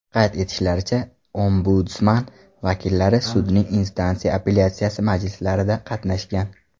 Qayd etishlaricha, Ombudsman vakillari sudning instansiya apellyatsiyasi majlislarida qatnashgan.